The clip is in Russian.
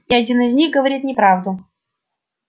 и один из них говорит неправду